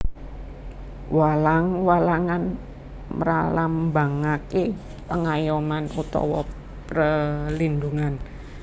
Walang walangan mralambangake pengayoman utawa prelindungan